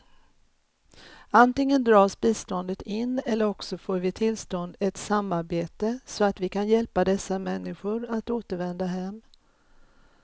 Antingen dras biståndet in eller också får vi tillstånd ett samarbete, så att vi kan hjälpa dessa människor att återvända hem.